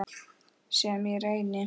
Sem ég reyni.